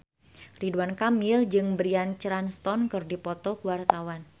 Ridwan Kamil jeung Bryan Cranston keur dipoto ku wartawan